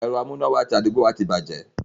Ẹ̀rọ amúnáwá ti àdúgbò wa ti bàjẹ́.